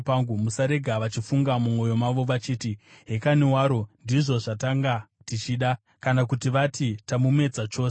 Musarega vachifunga mumwoyo mavo vachiti, “Hekani waro, ndizvo zvatanga tichida!” kana kuti vati, “Tamumedza chose.”